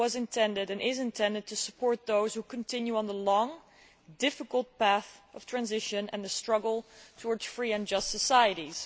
intended and is intended to support those who continue on the long, difficult path of transition and the struggle towards free and just societies.